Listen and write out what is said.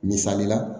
Misali la